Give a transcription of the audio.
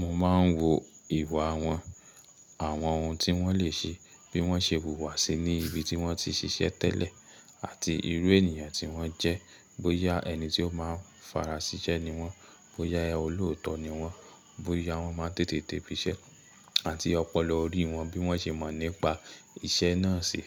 Mo máa ń wo ìwà wọn, àwọn ohun tí wọ́n lè ṣe, bí wọ́n ṣe wùwà sí i ní ibi tí wọ́n ti ṣiṣẹ́ tẹ́lẹ̀ àti irú ènìyàn tí wọ́n jẹ́. Bóyá ẹni tí ó máa ń fara síṣẹ́ ni wọ́n, bóyá olóòótọ́ ni wọ́n, bóyá wọ́n máa ń tètè de ibiṣẹ́ àti ọpọlọ orí wọn bí wọ́n ṣe mọ̀ nípa iṣẹ́ náà ṣi.